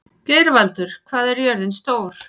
Geirvaldur, hvað er jörðin stór?